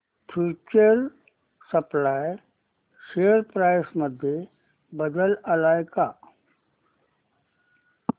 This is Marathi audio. फ्यूचर सप्लाय शेअर प्राइस मध्ये बदल आलाय का